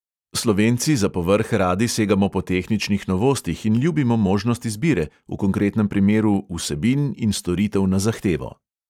Slovenci za povrh radi segamo po tehničnih novostih in ljubimo možnost izbire, v konkretnem primeru vsebin in storitev na zahtevo.